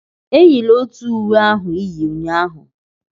Eyila otu uwe ahụ ị yi ụnyahụ!